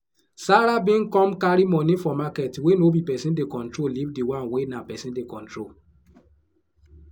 sarah bin come carry money put for market wey no be person dey control leave di one wey na person dey control